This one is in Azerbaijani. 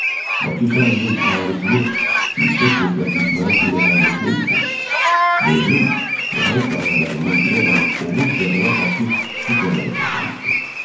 Bakı şəhərinin əhalisini yüksək keyfiyyətli içməli su ilə təmin etmək üçün dövrün nəhəng layihələrindən biri olan Oğuz-Qəbələ-Bakı su kəməri çəkilmişdir.